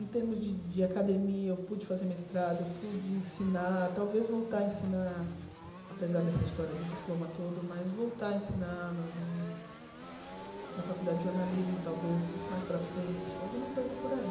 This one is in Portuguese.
Em termos de de academia, eu pude fazer mestrado, eu pude ensinar, talvez voltar a ensinar, apesar dessa história do diploma todo, mas voltar a ensinar na no na faculdade de jornalismo, talvez mais para frente, alguma coisa por aí.